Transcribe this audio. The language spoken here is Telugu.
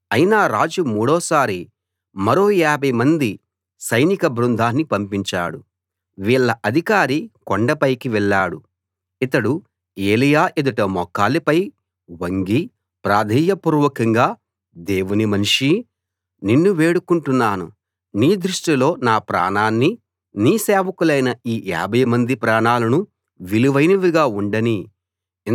అయినా రాజు మూడోసారి మరో యాభై మంది సైనిక బృందాన్ని పంపించాడు వీళ్ళ అధికారి కొండ పైకి వెళ్ళాడు ఇతడు ఎలీయా ఎదుట మోకాళ్ళపై వంగి ప్రాధేయ పూర్వకంగా దేవుని మనిషీ నిన్ను వేడుకుంటున్నాను నీ దృష్టిలో నా ప్రాణాన్నీ నీ సేవకులైన ఈ యాభై మంది ప్రాణాలనూ విలువైనవిగా ఉండనీ